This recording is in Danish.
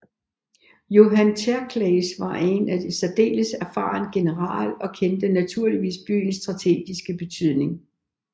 Johann Tserclaes var en særdeles erfaren general og kendte naturligvis byens strategiske betydning